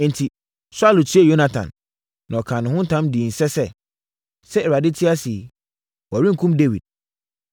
Enti, Saulo tiee Yonatan, na ɔkaa ho ntam dii nse sɛ, “Sɛ Awurade te ase yi, wɔrenkum Dawid.”